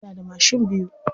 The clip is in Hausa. Yana da mashin biyu.